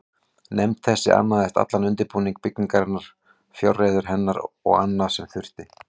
Nefnd þessi annaðist allan undirbúning byggingarinnar, fjárreiður hennar og annað, sem þurfti.